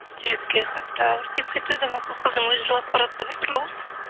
жүрекке қатты ауыр тиіп кетуі де мүмкін қыздың өзі жылап баратса біртүрлі ғой